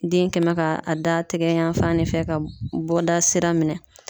Den kɛ n mɛ ka a da tɛgɛ yan fan de fɛ ka bɔda sira minɛn.